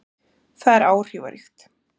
Það er áhrifaríkt.